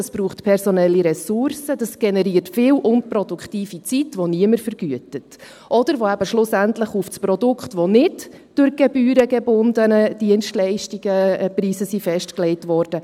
Das braucht personelle Ressourcen, und das generiert viel unproduktive Zeit, die niemand vergütet oder die eben schlussendlich auf das Produkt gehen, wo die Preise nicht durch gebührengebundene Dienstleistungen festgelegt wurden.